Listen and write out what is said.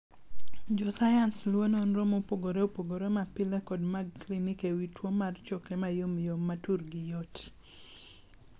Jo sayans luwo nonro mopogore opogore ma pile kod mag klinik e wii tuo mar choke mayomyom ma turgi yot.